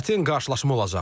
Çətin qarşılaşma olacaq.